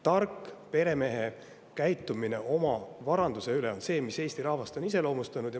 Targa peremehe kombel oma varandusega käitumine on see, mis Eesti rahvast on iseloomustanud.